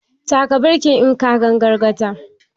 Taka birkin in ka gan gargada!